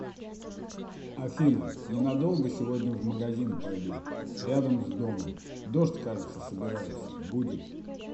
афина ненадолго сегодня в магазин пойду рядом с домом дождь кажется собирается будет